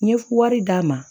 N ye wari d'a ma